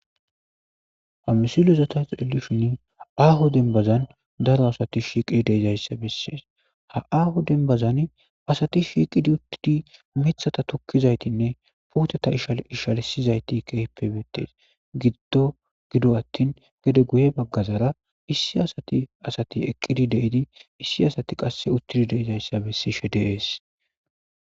Hamusilozata xeelishin aaho denbazan daro asati shiiqidi deedayssa bessees ha aaho denbazan asati shiiqidi uttidi mithata tukkizaytinne puoteta ishal ishalsizayti kepebettees giddo gido attin gede guye baggazara issi asati asati eqqidi deidi issi asati qasse uttidi deedayssa bessishe deees